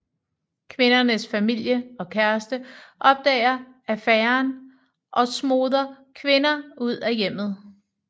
Kvindens familie og kæreste opdager affæren og smoder kvinder ud af hjemmet